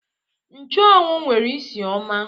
Nchuanwu nwere isi ọma